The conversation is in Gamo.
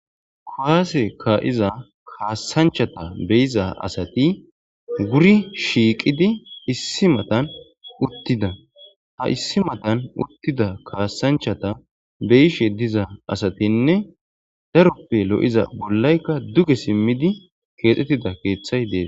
kowaase kaa7iza kaasanchata beyiza asati guri shiiqidi issi matan uttida ha issi matan uttida kaassanchata beyishe diza asatinne daroppe lo7iza bollaykka duge simmidi keexxettida keeththay deesa